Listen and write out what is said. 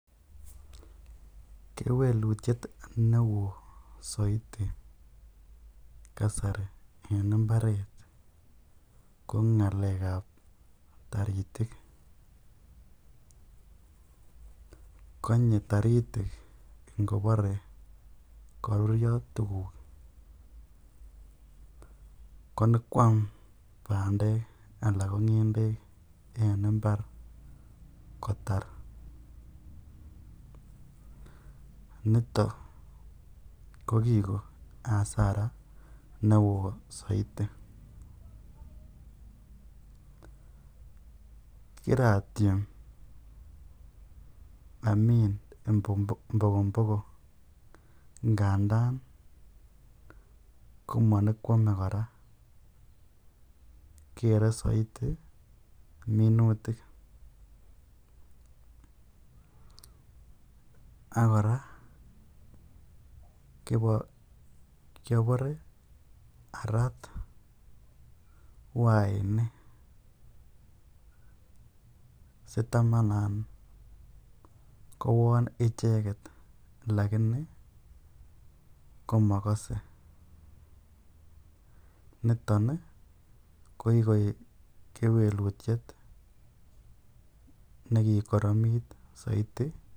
Kewelutiet newo soiti kasari en imbaret ko nalekab taritik, konye toritik ingobore korurio tukuk konyokwam bandek alaa ko ngendek en imbar kotar, nito ko kiko asara newo soiti, kiratiem amin mbogombogo ndandan komonyokwome kora keree soiti minutik, ak kora kiobore araat wainik sitamanan kowon icheket lakini komokose, niton ko kikoik kewelutiet nekikoromit soiti.